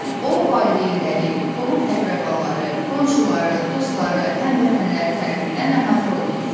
O valideynləri, qohum-əqrəbaları, qonşuları, dostları, həmvətənləri tərəfindən əhatə olunur.